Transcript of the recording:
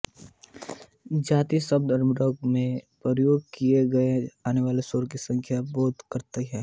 जाति शब्द राग में प्रयोग किये जाने वाले स्वरों की संख्या का बोध कराती है